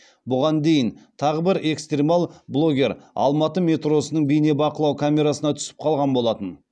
бұған дейін тағы бір экстремал блогер алматы метросының бейнебақылау камерасына түсіп қалған болатын